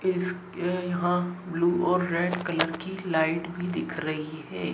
इस यहां ब्लू और रेड कलर की लाइट भी दिख रही है।